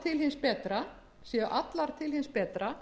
í meðförum nefndarinnar séu til hins betra